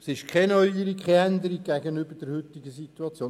Es ist keine Neuerung, keine Änderung gegenüber der heutigen Situation.